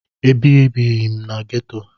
Ebibeghị m na geto.